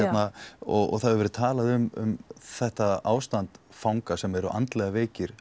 og það hefur verið talað um þetta ástand fanga sem eru andlega veikir